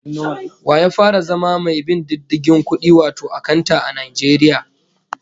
Wa ya fara zama mai bin diddigin kudi wato akanta, a Najeriya?